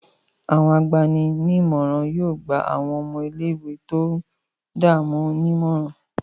Àwọn agbani-nímọ̀ràn yóò gba àwọn ọmọ ilé-ìwé tó ń dààmú nímọ̀ràn.